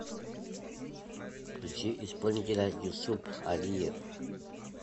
включи исполнителя юсуп алиев